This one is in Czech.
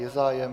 Je zájem?